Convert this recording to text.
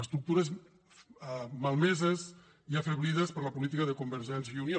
estructures malmeses i afeblides per la política de convergència i unió